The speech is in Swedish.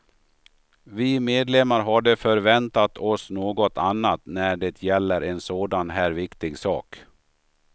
Vi medlemmar hade förväntat oss något annat när det gäller en sådan här viktig sak.